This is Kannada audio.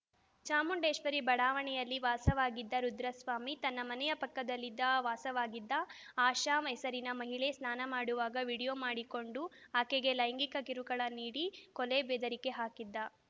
ಚಾಮುಂಡೇಶ್ವರಿ ಬಡಾವಣೆಯಲ್ಲಿ ವಾಸವಾಗಿದ್ದ ರುದ್ರಸ್ವಾಮಿ ತನ್ನ ಮನೆಯ ಪಕ್ಕದಲ್ಲಿದ್ದ ವಾಸವಾಗಿದ್ದ ಆಶಾ ಹೆಸರಿನ ಮಹಿಳೆ ಸ್ನಾನ ಮಾಡುವಾಗ ವೀಡಿಯೋ ಮಾಡಿಕೊಂಡು ಆಕೆಗೆ ಲೈಂಗಿಕ ಕಿರುಕುಳ ನೀಡಿ ಕೊಲೆ ಬೆದರಿಕೆ ಹಾಕಿದ್ದ